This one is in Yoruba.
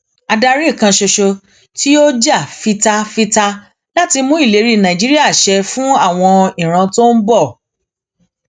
adarí kan ṣoṣo tí yóò jà fita fita láti mú ìlérí nàìjíríà ṣẹ fún àwọn ìran tó ń bọ